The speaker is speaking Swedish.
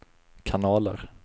kanaler